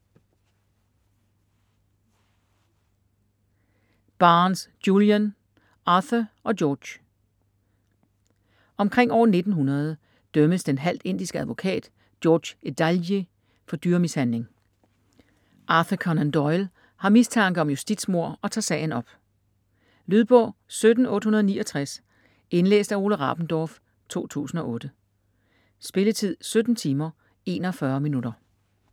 Barnes, Julian: Arthur & George Omkring år 1900 dømmes den halvt indiske advokat George Edalji for dyremishandling. Arthur Conan Doyle har mistanke om justitsmord og tager sagen op. Lydbog 17869 Indlæst af Ole Rabendorf, 2008. Spilletid: 17 timer, 41 minutter.